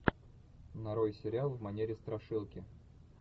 нарой сериал в манере страшилки